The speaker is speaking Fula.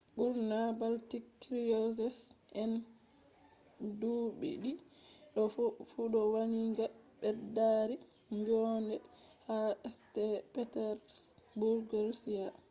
ɓurna baltic cruises anduɗi ɗo fu ɗo wangina ɓeddaari njoonde ha st. petersburg russia